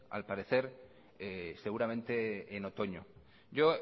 al parecer seguramente en otoño yo